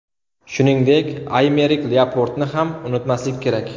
Shuningdek, Aymerik Lyaportni ham unutmaslik kerak.